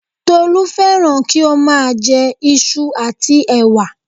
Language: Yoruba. Tolú fẹ́ràn kí ó má a jẹ isu àti ẹ̀wà